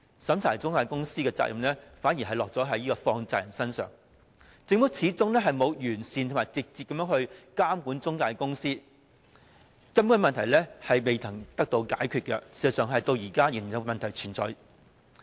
審查中介公司的責任反而落在放債人身上，政府始終沒有完善及直接監管中介公司，根本的問題並未得到解決，而事實上問題至今仍然存在。